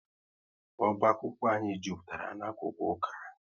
Oba akwụkwọ anyị jupụtara na-akwụkwọ ụka